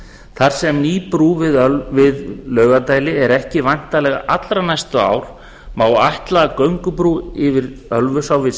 þar sem ný brú við laugardæli er ekki væntanleg allra næstu ár má ætla að göngubrú yfir ölfusá við